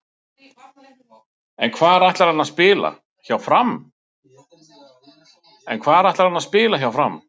En hvar ætlar hann að spila hjá Fram?